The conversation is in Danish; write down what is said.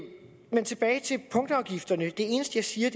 men tilbage til punktafgifterne det eneste jeg siger